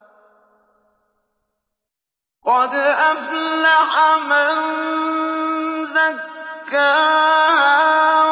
قَدْ أَفْلَحَ مَن زَكَّاهَا